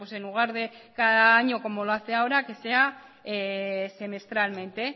en lugar de cada año como lo hace ahora que sea semestralmente